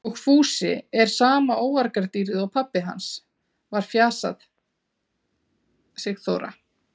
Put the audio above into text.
Og Fúsi er sama óargadýrið og pabbi hans var fjasaði Sigþóra.